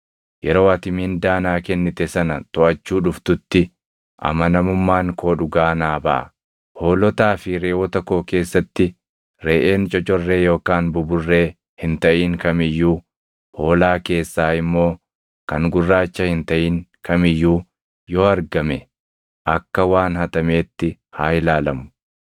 Yeroo ati mindaa naa kennite sana toʼachuu dhuftutti, amanamummaan koo dhugaa naa baʼa. Hoolotaa fi reʼoota koo keessatti reʼeen cocorree yookaan buburree hin taʼin kam iyyuu, hoolaa keessaa immoo kan gurraacha hin taʼin kam iyyuu yoo argame akka waan hatameetti haa ilaalamu.”